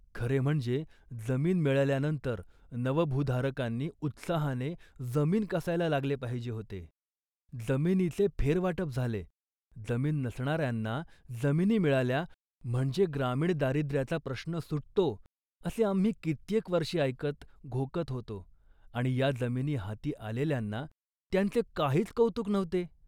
खरे म्हणजे जमीन मिळाल्यानंतर नवभूधारकांनी उत्साहाने जमीन कसायला लागले पाहिजे होते. जमिनीचे फेरवाटप झाले, जमीन नसणाऱ्यांना जमिनी मिळाल्या म्हणजे ग्रामीण दारिद्राचा प्रश्न सुटतो असे आम्ही कित्येक वर्षे ऐकत, घोकत होतो आणि या जमिनी हाती आलेल्यांना त्याचे काहीच कौतुक नव्हते